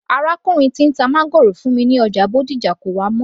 Arákùnrin tí ń ta máńgòrò fún mi ní ọjà Bódìjà kò wá mọ́